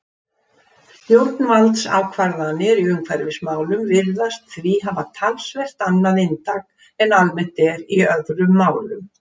Stjórnvaldsákvarðanir í umhverfismálum virðast því hafa talsvert annað inntak en almennt er í öðrum málum.